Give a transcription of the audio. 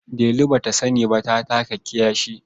Delu ba ta sani ba ta taka kiyashi.